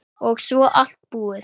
Og svo allt búið.